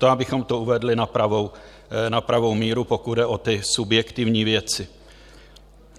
To abychom to uvedli na pravou míru, pokud jde o ty subjektivní věci.